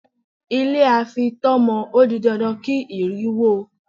Ilé a fi itọ́ mọ ó di dandan kí ìrì wó ó.